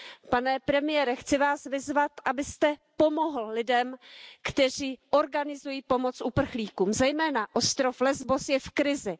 Pane premiére, chci Vás vyzvat, abyste pomohl lidem, kteří organizují pomoc uprchlíkům, zejména ostrov Lesbos je v krizi.